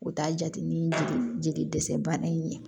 U t'a jate ni jeli dɛsɛ bana in ye